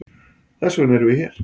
Þessvegna eru við hér.